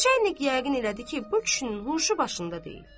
Neçə ilik yəqin elədi ki, bu kişinin huşu başında deyil.